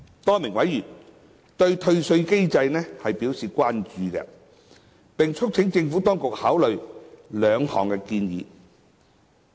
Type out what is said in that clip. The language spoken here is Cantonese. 多名委員對退稅機制表示關注，並促請政府當局考慮兩項建議。